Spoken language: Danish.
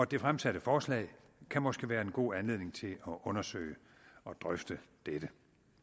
det fremsatte forslag kan måske være en god anledning til at undersøge og drøfte dette